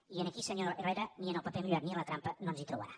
i aquí senyor herrera ni en el paper mullat ni en la trampa no ens hi trobarà